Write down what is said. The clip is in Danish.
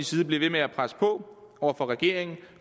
side blive ved med at presse på over for regeringen